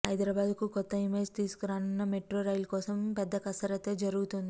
హైదరాబాద్ కు కొత్త ఇమేజ్ తీసుకురానున్న మెట్రో రైల్ కోసం పెద్ద కసరత్తే జరుగుతోంది